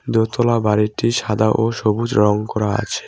দোতলা বাড়িটি সাদা ও সবুজ রং করা আছে।